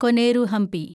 Koneru Hampi